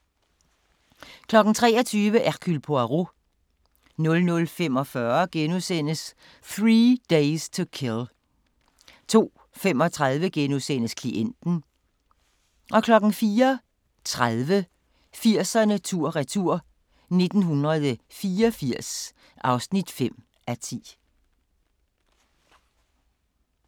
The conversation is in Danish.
23:00: Hercule Poirot 00:45: 3 Days to Kill * 02:35: Klienten * 04:30: 80'erne tur-retur: 1984 (5:10)